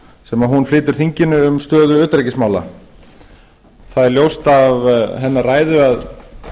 sem hún flytur þinginu um stöðu utanríkismála það er ljóst af hennar ræðu að